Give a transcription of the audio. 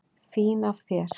Fín af þér.